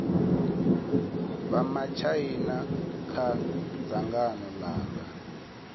vha matshaina kha dzangano langa